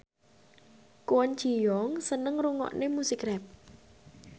Kwon Ji Yong seneng ngrungokne musik rap